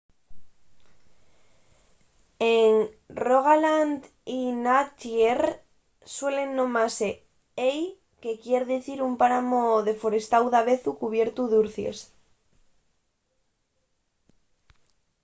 en rogaland y n'agder suelen nomase hei” que quier dicir un páramu deforestáu davezu cubiertu d’urcies